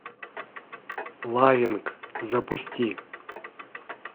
лавинг запусти